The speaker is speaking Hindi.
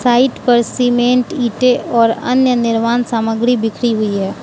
साइट पर सीमेंट ईंटें और अन्य निर्माण सामग्री बिखरी हुई है।